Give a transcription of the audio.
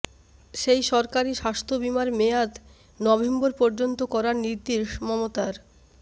সেই সরকরি স্বাস্থ্য বিমার মেয়াদ নভেম্বর পর্যন্ত করার নির্দেশ মমতার